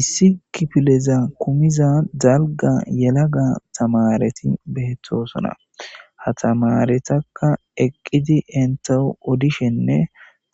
issi kipileza kumiza dalga yelaga tamareti beettosona ha tamaretakka eqqidi entahu odishenne